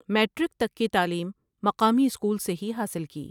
Matric تک کی تعلیم مقامی اسکول سے ہی حاصل کی ۔